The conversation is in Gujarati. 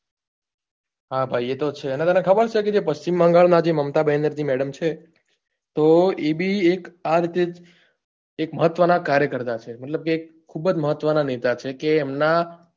હા ભાઈ એ તો છે અને તને ખબર છે કે પ્રશ્ચિમ બંગાળ માં જે મમતા બેનર જી madam છે તો એ બી એક આ રીતે જ એક મહત્વ નાં કાર્યકર્તા છે મતલબ કે ખુબ જ મહત્વ નાં નેતા છે કે એમના